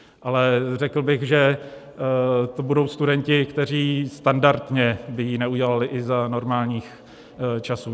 Ale řekl bych, že to budou studenti, kteří standardně by ji neudělali i za normálních časů.